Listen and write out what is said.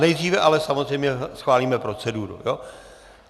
Nejdříve ale samozřejmě schválíme proceduru.